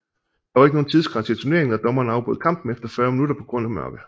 Der var ikke nogen tidsgrænse i turneringen og dommeren afbrød kampen efter 40 minutter på grund af mørke